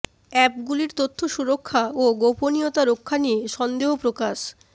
অ্যাপগুলির তথ্য সুরক্ষা ও গোপনীয়তা রক্ষা নিয়ে সন্দেহ প্রকাশ